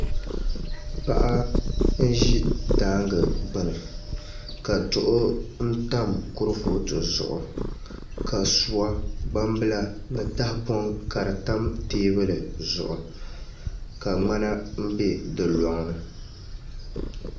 Paɣa n ʒi daangi gbuni ka duɣu tam kurifooti zuɣu ka suwa gbambila ni tahapoŋ ka di tam teebuli zuɣu ka ŋmana bɛ di loŋni